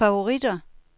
favoritter